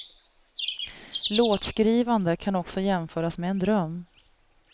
Låtskrivande kan också jämföras med en dröm.